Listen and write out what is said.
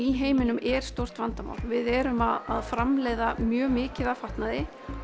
í heiminum er stórt vandamál við erum að framleiða mjög mikið af fatnaði